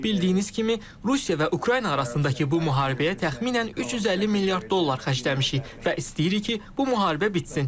Bildiyiniz kimi, Rusiya və Ukrayna arasındakı bu müharibəyə təxminən 350 milyard dollar xərcləmişik və istəyirik ki, bu müharibə bitsin.